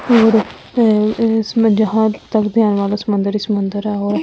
और इसमें जहां तक ध्यान वाला समुंदर ही समंदर है और--